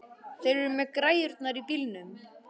Þeir eru með græjurnar í bílnum.